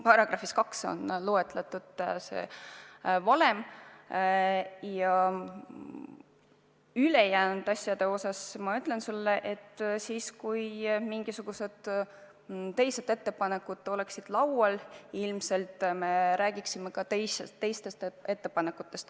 Mis puutub ülejäänutesse, siis ma ütlen sulle, et kui mingisugused teised ettepanekud oleksid laual, siis me ilmselt räägiksime ka teistest ettepanekutest.